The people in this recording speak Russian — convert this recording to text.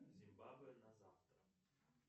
зимбабве на завтра